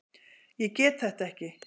Ég get þetta ekki.